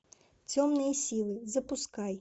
темные силы запускай